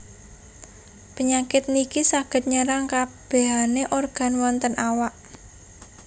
Penyakit niki saged nyerang kabehane organ wonten awak